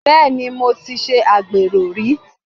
Bẹ́ẹ̀ni, mo ti ṣe agbẹ̀rò rí.